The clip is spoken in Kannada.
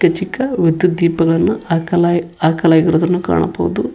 ಚಿಕ್ಕ ವಿದ್ಯುತ್ ದೀಪಗಳನ್ನು ಹಾಕಲಾಯಿ ಹಾಕಲಾಗಿರುವುದನ್ನು ಕಾಣಬಹುದು.